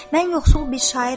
Mən yoxsul bir şairəm.